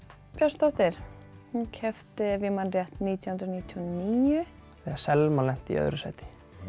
Björnsdóttir hún keppti ef ég man rétt nítján hundruð níutíu og níu þegar Selma lenti í öðru sæti